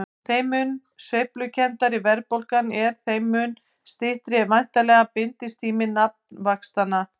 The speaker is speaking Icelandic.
Þeim mun sveiflukenndari verðbólgan er þeim mun styttri er væntanlega binditími nafnvaxtanna.